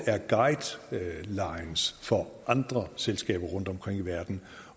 guidelines for andre selskaber rundtomkring i verden